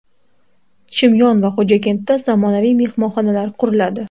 Chimyon va Xo‘jakentda zamonaviy mehmonxonalar quriladi.